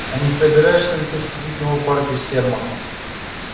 а не собираешься ли ты вступить в новую партию сермака